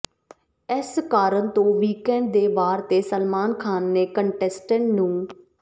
ਇਸ ਕਾਰਨ ਤੋਂ ਵੀਕੈਂਡ ਦੇ ਵਾਰ ਤੇ ਸਲਮਾਨ ਖਾਨ ਨੇ ਕੰਟੈਸਟੈਂਟ ਨੂੰ